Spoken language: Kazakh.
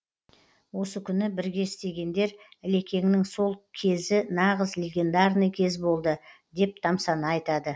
осы күні бірге істегендер ілекеңнің сол кезі нағыз легендарный кез болды деп тамсана айтады